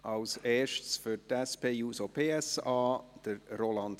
zuerst Roland Näf für die SP-JUSO-PSAFraktion.